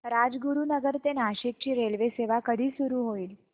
राजगुरूनगर ते नाशिक ची रेल्वेसेवा कधी सुरू होईल